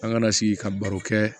An kana sigi ka baro kɛ